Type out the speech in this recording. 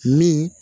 Min